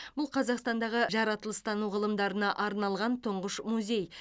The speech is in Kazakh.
бұл қазақстандағы жаратылыстану ғылымдарына арналған тұңғыш музей